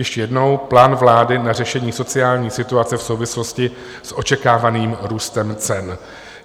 Ještě jednou: Plán vlády na řešení sociální situace v souvislosti s očekávaným růstem cen.